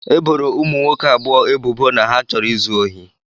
E boro ụmụ nwoke abụọ ebubo na ha chọrọ izu ohi